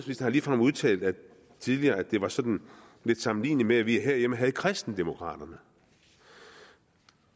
har ligefrem udtalt tidligere at det var sådan lidt sammenligneligt med at vi herhjemme havde kristendemokraterne